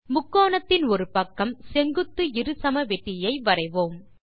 முக்கோணத்தின் ஒரு பக்கம் செங்குத்து இருசமவெட்டியை வரைவோம்